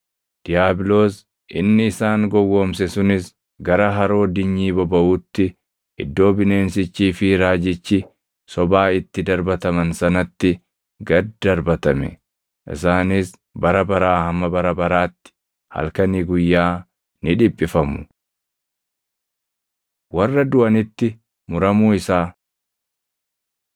Diiyaabiloos inni isaan gowwoomse sunis gara haroo dinyii bobaʼuutti iddoo bineensichii fi raajichi sobaa itti darbataman sanatti gad darbatame. Isaanis bara baraa hamma bara baraatti halkanii guyyaa ni dhiphifamu. Warra Duʼanitti Muramuu Isaa